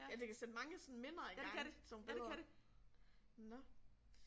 Ja det kan sætte mange sådan minder i gang sådan nogle billeder. Nåh